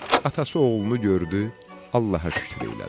Atası oğlunu gördü, Allaha şükür eylədi.